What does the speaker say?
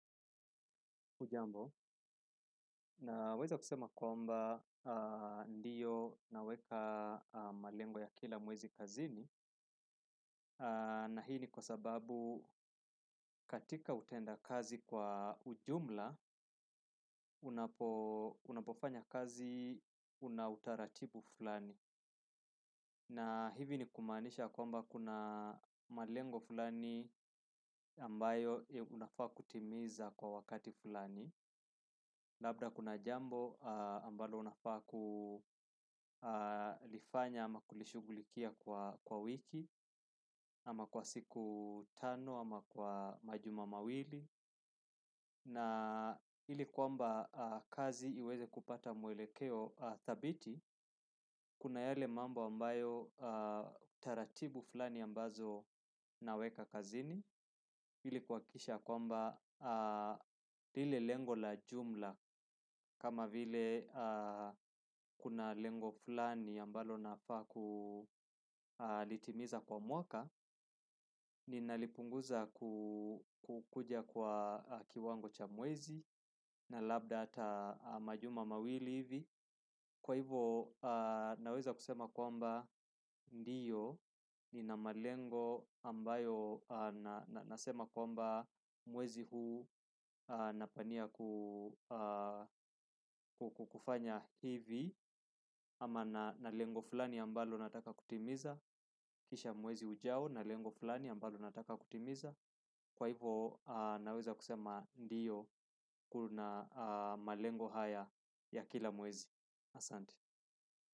Naweza kusema kwamba ndiyo naweka malengo ya kila mwezi kazini na hii ni kwa sababu katika utenda kazi kwa ujumla unapofanya kazi una utaratibu fulani na hivi ni kumaanisha kwamba kuna malengo fulani ambayo unafaa kutimiza kwa wakati fulani labda kuna jambo ambalo unafaa kulifanya ama kulishughulikia kwa wiki ama kwa siku tano ama kwa majuma mawili na ili kwamba kazi iweze kupata mwelekeo dhabiti kuna yale mambo ambayo taratibu fulani ambazo naweka kazini ili kuhakikisha ya kwamba lile lengo la jumla kama vile kuna lengo fulani ambalo nafaa kulitimiza kwa mwaka. Ninalipunguza kukuja kwa kiwango cha mwezi na labda hata majuma mawili hivi kwa hivo naweza kusema kwamba ndiyo nina malengo ambayo nasema kwamba mwezi huu napania kufanya hivi ama na lengo fulani ambalo nataka kutimiza kisha mwezi ujao na lengo fulani ambalo nataka kutimiza kwa hivo naweza kusema ndiyo na malengo haya ya kila mwezi. Asante.